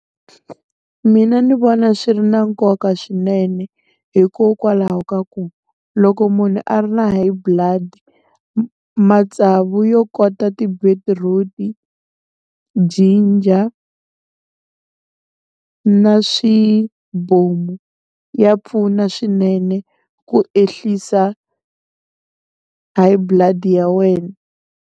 Mina ni vona swi ri na nkoka swinene hikokwalaho ka ku loko munhu a ri na high blood matsavu yo kota ti-beetroot, ginger, na swibomu ya pfuna swinene ku ehlisa high blood ya wena.